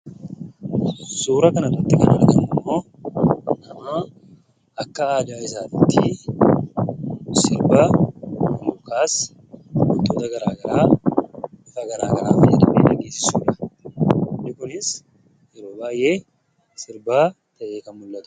Suuraa kanarratti kan arginummoo namoonni akka aadaa isaaniitti wantoota garaagaraa bifa garaagaraan fayyadamanii suuraa ka'u. Sirbi kunis yeroo baay'ee sirba beekamudha jechuudha.